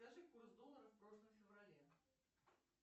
скажи курс доллара в прошлом феврале